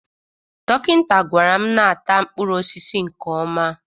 Dokinta gwara m na-ata mkpụrụosisi nke ọma